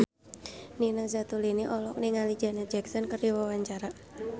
Nina Zatulini olohok ningali Janet Jackson keur diwawancara